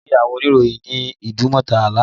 Mo rí àwọn oníròyìn ní Idumota lánàá